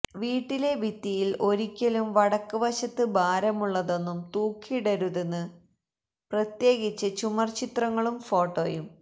വീട്ടിലെ ഭിത്തിയില് ഒരിക്കലും വടക്ക് വശത്ത് ഭാരമുള്ളതൊന്നും തൂക്കിയിടരുത് പ്രത്യേകിച്ച് ചുമര്ചിത്രങ്ങളും ഫോട്ടോയും